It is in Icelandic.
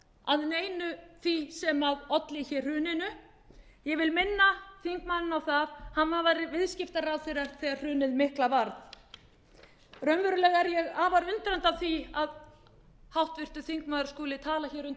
að neinu því sem olli hruninu ég vil minna þingmanninn á það að hann var viðskiptaráðherra þegar hrunið mikla varð raunverulega er ég afar undrandi á því að háttvirtur þingmaður skuli tala undir þessum lið